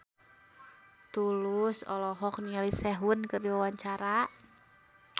Tulus olohok ningali Sehun keur diwawancara